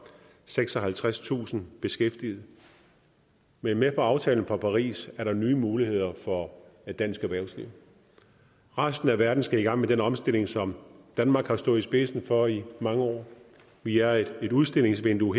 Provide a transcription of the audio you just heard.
seksoghalvtredstusind beskæftigede men med aftalen fra paris er der nye muligheder for dansk erhvervsliv resten af verden skal i gang med den omstilling som danmark har stået i spidsen for i mange år vi er et udstillingsvindue